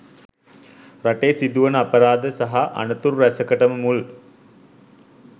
රටේ සිදුවන අපරාධ සහ අනතුරු රැසකටම මුල්